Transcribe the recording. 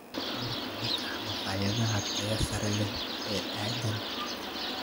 qaar ka mid ah makhaayadaha tayada sare leh ee aagga